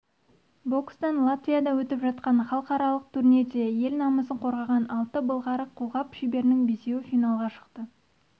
бокстан латвияда өтіп жатқан халықаралық турнирде ел намысын қорғаған алты былғары қолғап шеберінің бесеуі финалға шықты